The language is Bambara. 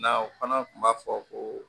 Na o fana kun b'a fɔ ko